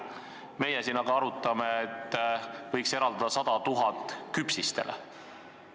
Meie siin aga arutame, et võiks eraldada 100 000 küpsistele.